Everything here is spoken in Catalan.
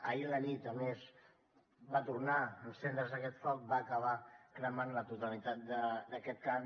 ahir a la nit a més va tornar a encendre’s aquest foc va acabar cremant la totalitat d’aquest camp